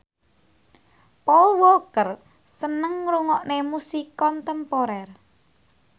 Paul Walker seneng ngrungokne musik kontemporer